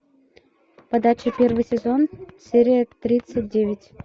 подача первый сезон серия тридцать девять